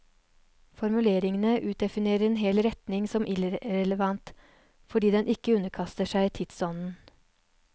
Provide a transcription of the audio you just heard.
Formuleringene utdefinerer en hel retning som irrelevant fordi den ikke underkaster seg tidsånden.